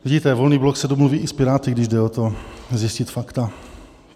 Vidíte, Volný blok se domluví i s Piráty, když jde o to, zjistit fakta.